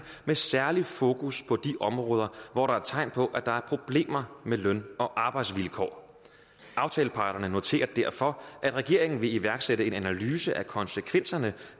med særligt fokus på de områder hvor der er tegn på at der er problemer med løn og arbejdsvilkår aftaleparterne noterer derfor at regeringen vil iværksætte en analyse af konsekvenserne